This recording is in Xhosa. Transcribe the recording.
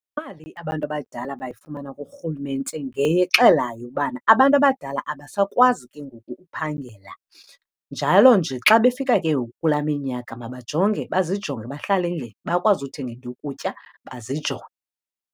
Imali abantu abadala abayifumana kurhulumente ngexelayo ubana abantu abadala abasakwazi ke ngoku uphangela. Njalo nje xa befika ke ngoku kulaa minyaka mabajonge bazijonge, bahlale endlini. Bakwazi uthenga into yokutya bazijonge.